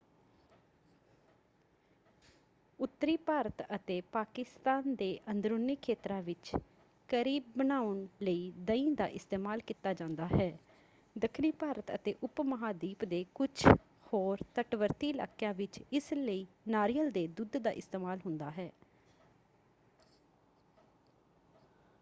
ਉੱਤਰੀ ਭਾਰਤ ਅਤੇ ਪਾਕਿਸਤਾਨ ਦੇ ਅੰਦਰੂਨੀ ਖੇਤਰਾਂ ਵਿੱਚ ਕਰੀ ਬਣਾਉਣ ਲਈ ਦਹੀਂ ਦਾ ਇਸਤੇਮਾਲ ਕੀਤਾ ਜਾਂਦਾ ਹੈ; ਦੱਖਣੀ ਭਾਰਤ ਅਤੇ ਉਪਮਹਾਂਦੀਪ ਦੇ ਕੁਝ ਹੋਰ ਤਟਵਰਤੀ ਇਲਾਕਿਆਂ ਵਿੱਚ ਇਸ ਲਈ ਨਾਰੀਅਲ ਦੇ ਦੁੱਧ ਦਾ ਇਸਤੇਮਾਲ ਹੁੰਦਾ ਹੈ।